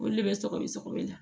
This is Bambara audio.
Olu le be sɔgɔbɛ sɔgɔbɛ la